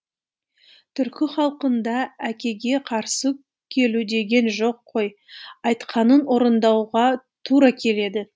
түркі халқында әкеге қарсы келу деген жоқ қой айтқанын орындауға тура келеді